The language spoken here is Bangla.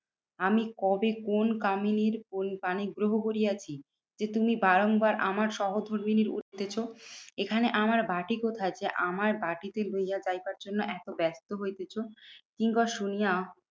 আমি কবে কোন কামিনীর পানি গ্রহ করিয়াছি? যে তুমি বারংবার আমার সহধর্মিনীর উত্তেচ। এখানে আমার বাটি কোথায়? যে আমার বাটিতে লইয়া যাইবার জন্য এত ব্যস্ত হইতেছ? কিঙ্কর শুনিয়া